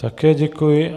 Také děkuji.